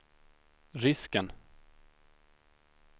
risken